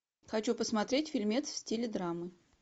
хочу посмотреть фильмец в стиле драмы